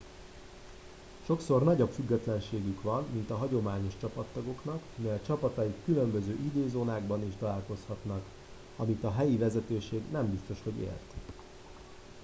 sokszor nagyobb függetlenségük van mint a hagyományos csapattagoknak mivel csapataik különböző időzónákban is találkozhatnak amit a helyi vezetőség nem biztos hogy ért